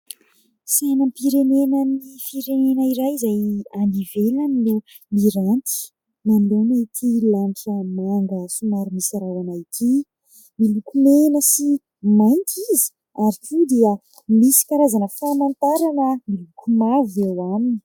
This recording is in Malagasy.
Sainam-pirenanan'ny firenena iray izay any ivelany no miranty manoloana ity lanitra manga somary misy rahona ity. Miloko mena sy mainty izy ary koa dia misy karazana famantarana miloko mavo eo aminy.